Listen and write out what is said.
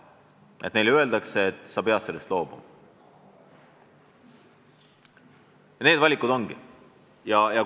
Neile ei tohi öelda, et nad peavad meie kodakondsusest loobuma, kui tahavad olla ka teise riigi kodanikud.